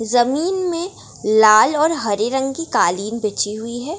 जमीन में लाल और हरे रंग की कालीन बिछी हुई है।